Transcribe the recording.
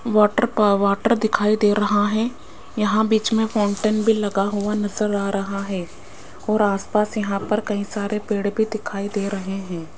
Water पा water दिखाई दे रहा हैं यहां बीच में फाउंटेन भी लगा हुआ नजर आ रहा है और आसपास यहां पर कई सारे पेड़ भी दिखाई दे रहे हैं।